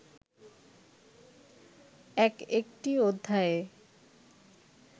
এক একটি অধ্যায়ে